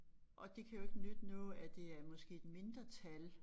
Og det kan jo ikke nytte noget at det er måske et mindretal